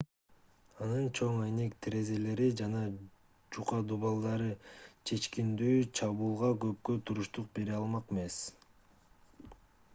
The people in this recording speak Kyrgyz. анын чоң айнек терезелери жана жука дубалдары чечкиндүү чабуулга көпкө туруштук бере алмак эмес